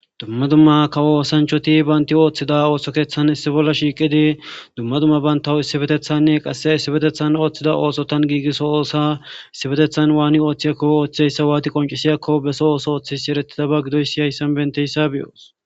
dumma dumma kawo oosanchoti baynti ooththida ooso keeththan issi bolla shiiqidi dumma dumma bantaw issibetethanne qasse issibetethan ooththida oosotan giigisso oosa issibetethan waani ooththiyakko ooththeyssa waati qoncisiyakko beso ooso ooththis erettida ba gidoy si hayssan benteyssa biyoos